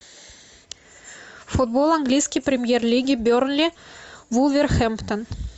футбол английской премьер лиги бернли вулверхэмптон